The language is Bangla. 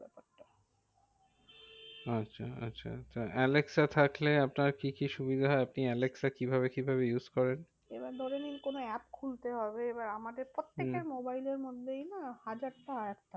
আচ্ছা আচ্ছা আলেক্সা থাকলে আপনার কি কি সুবিধা? আপনি আলেক্সা কিভাবে কিভাবে use করেন? এবার ধরে নিন কোনো app খুলতে হবে, এবার আমাদের হম প্রত্যেকের মোবাইলের মধ্যেই না হাজারটা app থাকে।